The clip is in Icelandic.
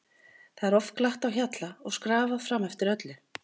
Það er oft glatt á hjalla og skrafað fram eftir öllu.